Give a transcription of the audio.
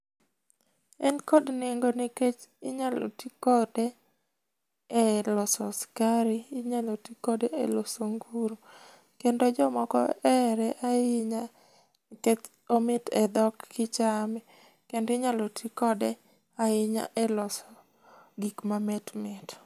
En kod nengo nikech inyalo ti kode eloso sukari. Inyalo ti kode eloso nguru, kendo jomoko ohere ahinya nikech omit edhok kichame. Kendo inyalo ti kode ahinya eloso gik mamit mit.